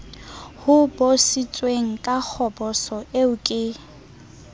hobositsweng ka kgoboso eo ke